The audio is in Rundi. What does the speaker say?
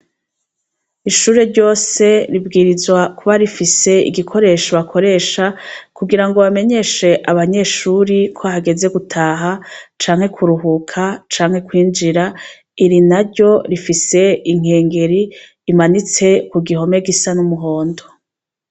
Ishure ryose ribwirizwa kuba rifise igikoresho bakoresha kugira bamenyeshe abanyeshuri ko hageze gutaha canke kuruhuka canke kwinjira; iri naryo rifise inkengeri imanitse ku gihome gisa n'umuhondo.